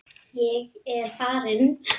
Ég er farinn